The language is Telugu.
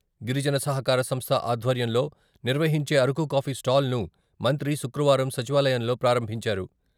గిరిజన సహకార సంస్థ ఆధ్వర్యంలో నిర్వహించే అరకు కాఫీ స్టాల్ను మంత్రి శుక్రవారం సచివాలయంలో ప్రారంభించారు.